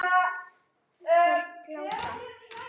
Þær glápa.